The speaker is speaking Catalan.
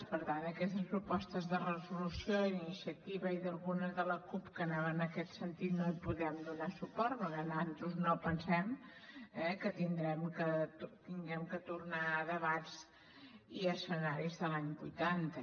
per tant a aquestes propostes de resolució d’iniciativa i a algunes de la cup que anaven en aquest sentit no hi podem donar suport perquè nosaltres no pensem que hàgim de tornar a debats i escenaris de l’any vuitanta